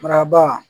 Maraba